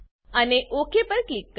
અને ઓક પર ક્લિક કરો